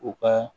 U ka